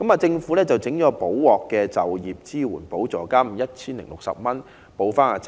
政府於是推出"補鑊"的就業支援補助金 1,060 元，填補差額。